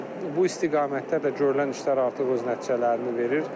Bu istiqamətdə də görülən işlər artıq öz nəticələrini verir.